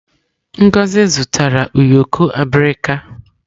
Ngozi zụtara ụyọkọ abirika.